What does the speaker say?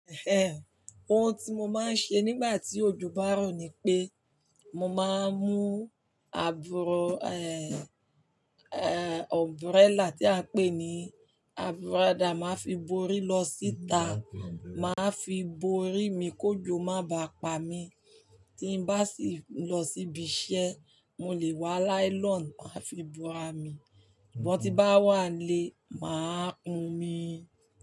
Ehen, ohun tí mo máa ń ṣe nígbà tí òjò bá rọ̀ ni pé mo máa ń mú àbùrọ̀, umbrella tí a ń pè ní àbúràdà, màá fi borí lọ síta, màá fi borí mi kó jò má bá pa mí. Tí n bá sì lọ síbi iṣẹ́, mo lè wá nylon màá fi bura mi. Mọ ti bá wà n lé, màá pọn mí.